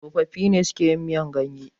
tsofaffi ne suke yin miyar ganye